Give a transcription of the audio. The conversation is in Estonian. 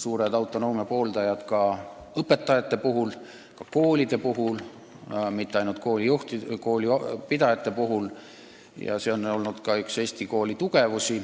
suured autonoomia pooldajad ka õpetajate puhul, ka koolide puhul, mitte ainult koolipidajate puhul, ja see on olnud üks Eesti kooli tugevusi.